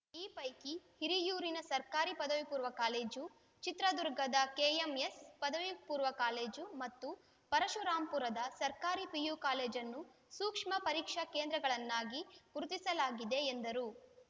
ಈ ಪೈಕಿ ಹಿರಿಯೂರಿನ ಸರ್ಕಾರಿ ಪದವಿ ಪೂರ್ವಕಾಲೇಜು ಚಿತ್ರದುರ್ಗದ ಕೆಎಂಎಸ್‌ ಪದವಿ ಪೂರ್ವ ಕಾಲೇಜು ಮತ್ತು ಪರಶುರಾಂಪುರದ ಸರ್ಕಾರಿ ಪಿಯು ಕಾಲೇಜನ್ನು ಸೂಕ್ಷ್ಮ ಪರೀಕ್ಷಾ ಕೇಂದ್ರಗಳನ್ನಾಗಿ ಗುರುತಿಸಲಾಗಿದೆ ಎಂದರು